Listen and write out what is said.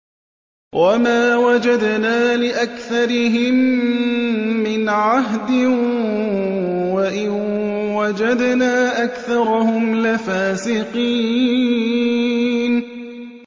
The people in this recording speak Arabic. وَمَا وَجَدْنَا لِأَكْثَرِهِم مِّنْ عَهْدٍ ۖ وَإِن وَجَدْنَا أَكْثَرَهُمْ لَفَاسِقِينَ